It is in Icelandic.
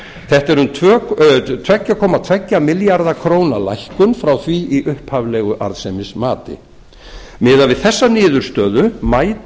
þetta er um tvö komma tvo milljarða króna lækkun frá því í upphaflegu arðsemismati miðað við þessa niðurstöðu mætir